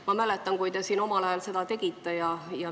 Ma mäletan, kui te omal ajal seda tegite.